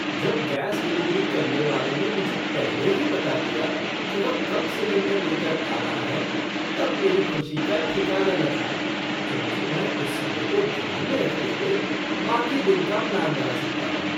जब gas delivery करने वाले ने मुझे पहले ही बता दिया कि वह कब सिलेंडर लेकर आ रहा है तब मेरी खुशी का ठिकाना न था क्योंकि मैं उस समय को ध्यान में रखते हुए बाकी दिन का प्लान बना सकता था।